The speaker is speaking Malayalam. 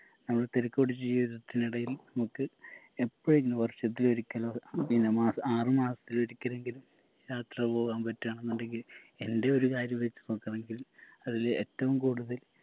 അന്ന് തെരക്ക് പിടിച്ച ജീവിതത്തിനിടയിൽ നമുക്ക് എപ്പഴെങ്കിലും വർഷത്തിൽ ഒരിക്കലോ പിന്ന മാസ ആറ് മാസത്തിൽ ഒരിക്കലെങ്കിലും യാത്ര പോവാൻ പറ്റുവാണെന്നുണ്ടെങ്കില് എൻറെ ഒരു കാര്യം വെച്ച് നോക്കു ആണെങ്കില് അതില് എറ്റവും കൂടുതൽ